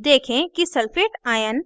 देखें कि sulphate ion